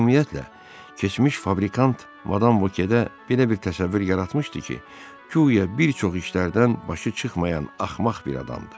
Ümumiyyətlə, keçmiş fabrikant madam Vokedə belə bir təsəvvür yaratmışdı ki, güya bir çox işlərdən başı çıxmayan axmaq bir adamdır.